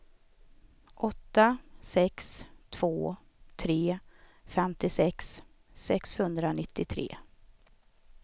åtta sex två tre femtiosex sexhundranittiotre